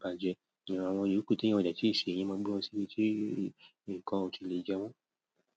bàjẹ́. Àwọn ìrúkù tí èèyàn ò jẹ́ kì í ṣe, yíì máa gbé wọn síbi tí nǹkan ò tí lè jẹ wọ́n.